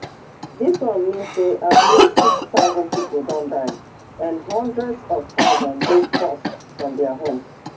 dis one mean say at least six thousand pipo don die and hundreds of thousands dey forced from dia homes